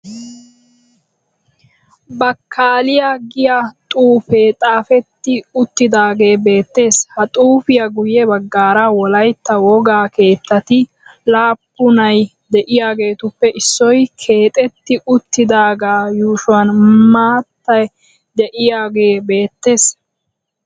Bakkaaliya giya xuufee xaafetti uttidaagee beettees. Ha xuufiya guyye baggaara wolaytta wogaa keettati laappunay de'iyageetuppe issoy keexetti uttidaagee yuushuwan maatay de'iyogee beettees.